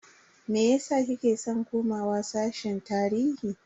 Meyasa kike san komawa sashen tarihi?